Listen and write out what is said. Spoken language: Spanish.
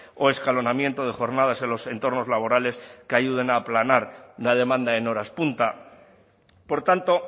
o escalonamiento de jornadas en los entornos laborales que ayuden a aplanar la demanda en horas punta por tanto